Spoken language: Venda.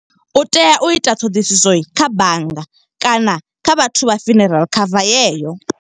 U tea u ita ṱhoḓisiso kha bannga, kana kha vhathu vha funeral cover ye yo.